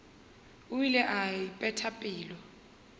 o ile a ipeta pelo